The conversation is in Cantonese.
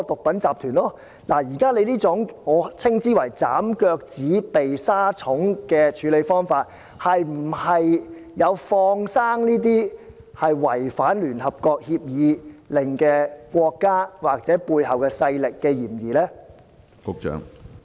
現在當局這種"斬腳趾避沙蟲"的處理方法是否有"放生"這些違反聯合國制裁令的國家或背後勢力之嫌呢？